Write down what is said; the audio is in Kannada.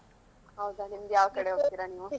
ಹೌದಾ ನಿಮ್ದು ಯಾವ ಕಡೆ ಹೋಗ್ತೀರಾ. ನೀವು?